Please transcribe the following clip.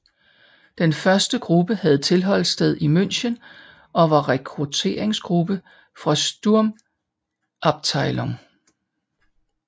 Den første gruppe havde tilholdssted i München og var rekrutteringsgruppe for Sturmabteilung